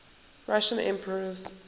russian emperors